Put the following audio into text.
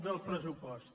del pressupost